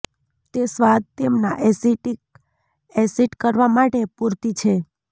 તે સ્વાદ તેમના એસિટિક એસિડ કરવા માટે પૂરતી છે